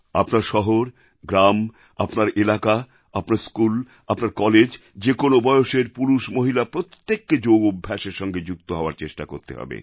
আপনার শহর গ্রাম আপনার এলাকা আপনার স্কুল আপনার কলেজ যে কোনও বয়সের পুরুষমহিলা প্রত্যেককে যোগ অভ্যাসের সঙ্গে যুক্ত হওয়ার চেষ্টা করতে হবে